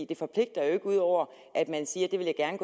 det forpligter jo ikke ud over at man siger at